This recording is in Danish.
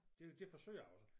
Det det forsøger jeg også